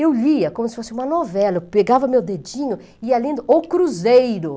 Eu lia como se fosse uma novela, eu pegava meu dedinho e ia lendo O Cruzeiro.